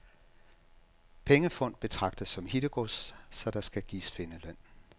Pengefund betragtes som hittegods, så der skal gives findeløn.